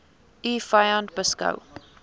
u vyand beskou